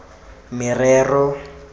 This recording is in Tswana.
merero